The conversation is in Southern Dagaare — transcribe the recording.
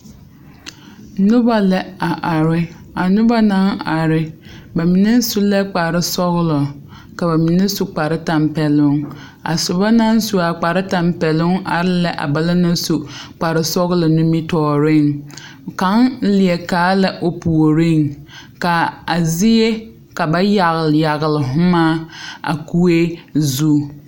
Noba lɛ a are. A noba naŋ are ba mene su la kpar sɔglɔ ka ba mene su kpar tampɛlunŋ. A soba naŋ su a kpar tampɛlunŋ are la a ba la naŋ su a kpar sɔglɔ nimitooreŋ. Kang lie kaa la o pooreŋ. Ka a zie ka ba yagle yagle humaa a kue zu